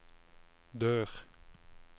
dør